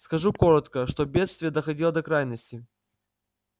скажу коротко что бедствие доходило до крайности